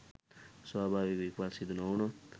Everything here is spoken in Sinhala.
ස්වභාවික විපත් සිදු නොවුණොත්